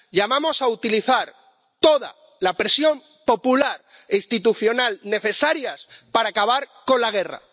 Llamamos a utilizar toda la presión popular e institucional necesarias para acabar con la guerra.